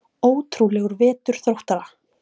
Ótrúlegur vetur Þróttara